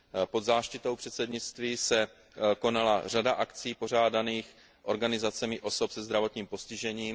Pod záštitou předsednictví se konala řada akcí pořádaných organizacemi osob se zdravotním postižením.